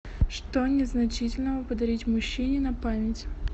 что незначительного подарить мужчине на память